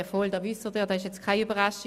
Das wissen Sie, das ist keine Überraschung.